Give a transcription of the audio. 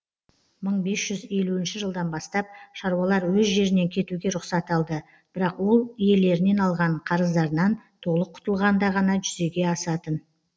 мың бес жүз елуінші жылдан бастап шаруалар өз жерінен кетуге рұқсат алды бірақ ол иелерінен алған қарыздарынан толық құтылғанда ғана жүзеге асатын